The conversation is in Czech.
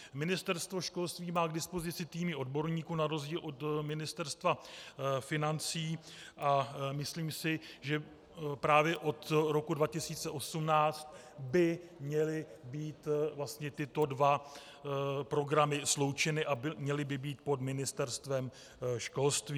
Ministerstvo školství má k dispozici týmy odborníků, na rozdíl od Ministerstva financí, a myslím si, že právě od roku 2018 by měly být vlastně tyto dva programy sloučeny a měly by být pod Ministerstvem školství.